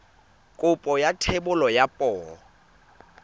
kopo ya thebolo ya poo